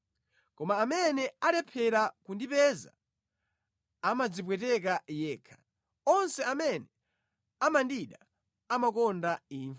Koma amene alephera kundipeza, amadzipweteka yekha; onse amene amandida amakonda imfa.”